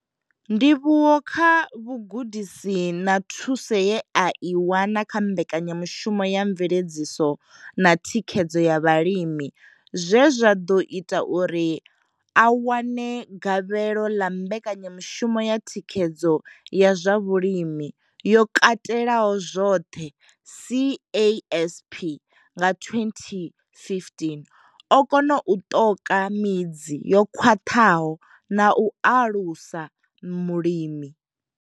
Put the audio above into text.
Ndivhuwo kha vhugudisi na thuso ye a i wana kha Mbekanya mushumo ya mveledziso na thikhedzo ya vhalimi zwe zwa ḓo ita uri a wane gavhelo ḽa mbekanyamushumo ya thikhedzo ya zwa vhulimi yo katelaho zwoṱhe, CASP, nga 2015 o kona u ṱoka midzi yo khwaṱhaho na u aluwasa mulimi.